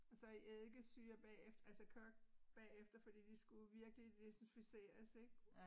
Og så i eddikesyre bagefter altså kogt bagefter fordi de skulle virkelig desinficeres ik